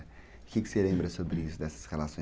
O que que você lembra sobre isso, dessas relações?